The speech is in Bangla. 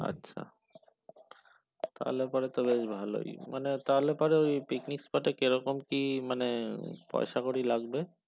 আচ্ছা তাহলে পরে তো বেশ ভালোই মানে তাহলে পরে এই picnic টাতে কিরকম কি মানে পয়সা কড়ি লাগবে